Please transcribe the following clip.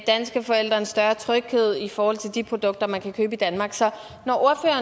danske forældre en større tryghed i forhold til de produkter man kan købe i danmark så